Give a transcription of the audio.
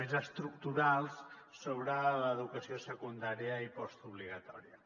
més estructurals sobre l’educació secundària i postobligatòria